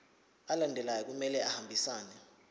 alandelayo kumele ahambisane